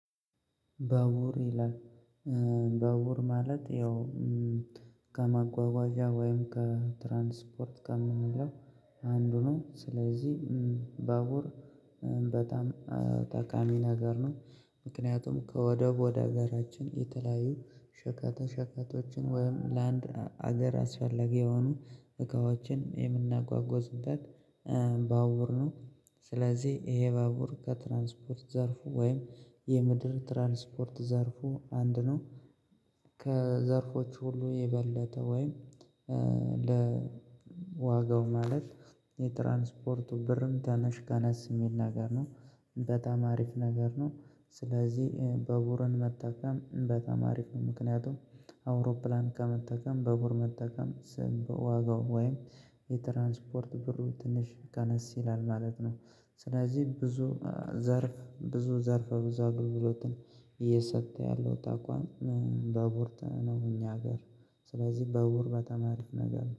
በውር ይላል በውር ማለት ያው ከማጓጓዣ ወይም ከትራንስፖርት ከምንለው አንዱ ነው ስለዚህ ባቡር በጣም ጠቃሚ ነገር ነው። ምክንያቱም ከወደብ ወደ ሀገራችን የተለያዩ ሸቀጣሸቀጦችን ወይም ለአንድ ሀገር አስፈላጊ የሆኑ እቃዎችን የምናጓጉዝበት ባቡር ነው። ስለዚህ ይሄ ባቡር ከትራንስፖርት ዘርፉ ወይም የምድር ትራንስፖርት ዘርፉ አንድ ነው። ከዘርፎቹ ሁሉ የበለጠ ወይም ለ ዋጋው ማለት የትራንስፖርቱ ብርም ትንሽ ቀነስ የሚል ነገር ነው በጣም አሪፍ ነገር ነው። ስለዚህ ባቡርን መጠቀም በጣም አሪፍ ነው። ምክንያቱም አውሮፕላን ከመጠቀም ባቡር መጠቀም ስም በዋጋው ወይም የትራንስፖርት ብሩ ትንሽ ከነስ ይላል ማለት ነው። ስለዚህ ብዙ ዘርፍ ብዙ ዘርፍ ብዙ አገልግሎትን እየሰጠ ያለው ተቋም ባቡር ነው። እኛ ሀገር ስለዚህ ባቡር በተመለሰ ነገር